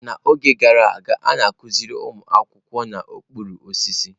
N'oge gara aga, a na-akụziri ụmụ akwụkwọ n'okpuru osisi.